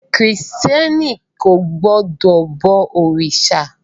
Krìstẹ́ni kò gbọdọ̀ bọ òrìṣà.